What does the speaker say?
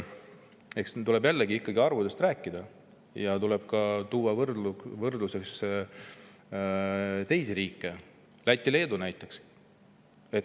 Eks tuleb jälle ikkagi arvudest rääkida ja tuleb tuua võrdluseks teisi riike, Lätit ja Leedut näiteks.